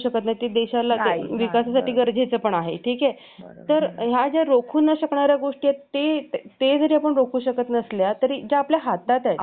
तर या ज्या रोखून शकणाऱ्या गोष्टी आहेत ते ते जरी आपण रोखू शकत नसलो जे आपल्या हातात आहेत आपल्या हातात खूप साऱ्या गोष्टी आहेत